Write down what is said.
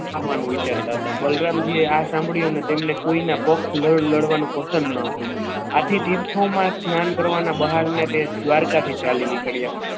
આવવાનું વિચારતા હતા બલરામ જે આ સાંભળી અને તેમને કોઈને પગ લડવાનું પસંદ ન હતું આથી તીર્થોમાં સ્નાન કરવાના બહાને તે દ્વારકા થી ચાલી નીકળ્યા.